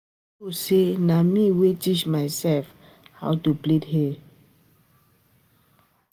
You no know say na me wey teach myself how to plait hair